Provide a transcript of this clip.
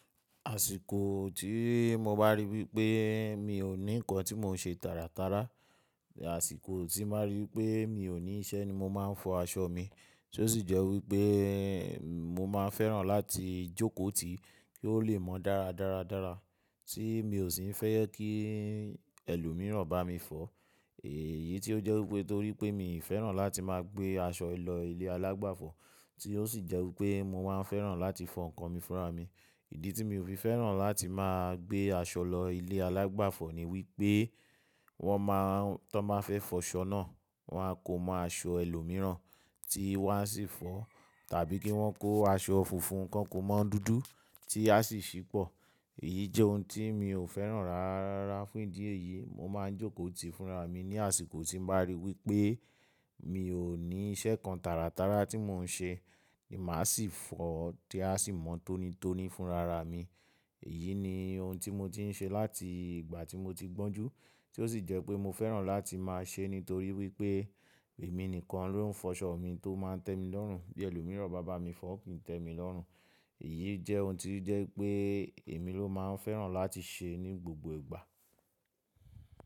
Àsìkò tí mo bá rí wípé mi ò ní ǹkan tí mò ń ṣe tàràtàrà, àsìkò tí mo bá rí pé mi ò ní iṣẹ́ ni mo máa ń fọ aṣọ mi. Tí ó sì jẹ́ wípé mo máa fẹ́ràn láti jókòó tì kí ó le mọ dára dáradára tí mi ò sì ń fẹ́ kí ẹlòmíràn bá mi fọ. Èyí tí ó jẹ́ wípé torí pé mi ò fẹ́ràn láti máa gbé aṣọ lọ ilé alágbàfọ̀, tí ó sì jẹ́ wípé mo máa ń fẹ́ràn láti fọ ǹkan mi fúnra mi. Ìdí tí mi ò fi fẹ́ràn láti máa gbé aṣọ lọ ilé alágbàfọ̀ ni wípé wọ́n máa ń, tí wọ́n bá fẹ́ fọ aṣọ náà, wọ́n á kó mọ́ aṣọ ẹlòmíràn tí wọ́n á sì fọ tàbí kí wọ́n kó aṣọ funfun kan kó mọ́ dúdú tí a sì ṣì pọ̀. Èyí jẹ́ ohun tí mi ò fẹ́ràn rárá fún ìdí èyí, mo máa ń jókòó tì fúnra mi ní àsìkò tí mo bá rí wípé mi ò ní iṣẹ́ kan tàràtàrà tí mò ń ṣe ni màá sì fọ tí a sì mọ̀ tónítóní fúnra ra mi. Èyí ni ohun tí mo ti ń ṣe láti ìgbà tí mo ti gbọ́n jú, tí ó sì jẹ́ pé mo fẹ́ràn láti máa ṣe nítorí wípé èmi nìkan ló ń fọ aṣọ mi tó máa ń tẹ́ mi lọ́rùn bí ẹlòmíràn bá bá mi fọ kì í tẹ́ mi lọ́rùn. Èyí jẹ́ ohun tí jẹ́ pé èmi ló máa ń fẹ́ràn láti ṣe ní gbogbo ìgbà.